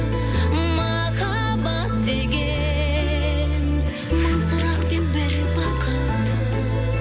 махаббат деген мың сұрақ пен бір бақыт